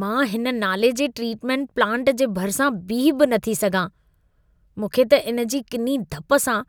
मां हिन नाले जे ट्रीटमेंट प्लांट जे भरिसां बीही बि नथी सघां। मूंखे त इन जी किनी धप सां